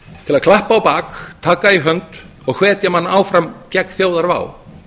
til að klappa á bak taka í hönd og hvetja mann áfram gegn þjóðarvá